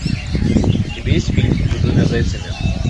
у тебя есть фильм за двумя зайцами